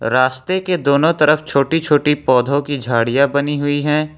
रास्ते के दोनों तरफ छोटी छोटी पौधों की झाड़ियां बनी हुई हैं।